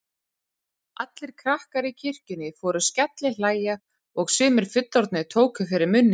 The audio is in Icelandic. Heimildir og myndir af fánum: Íslenska alfræðiorðabókin.